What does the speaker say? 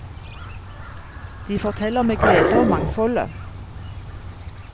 De forteller med glede om mangfoldet.